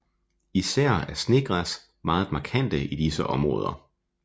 Især er Snegræs meget markante i disse områder